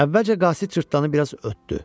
Əvvəlcə qasid cırtdanı biraz ötdü.